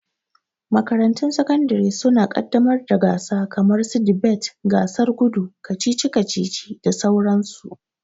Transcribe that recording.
Makarantun sakandare suna ƙaddamar da gasa kamar su dibet, gasar gudu, kacici kacici da sauran su.